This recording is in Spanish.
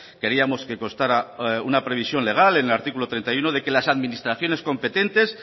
queríamos que constara una previsión legal en el artículo treinta y uno de que las administraciones competentes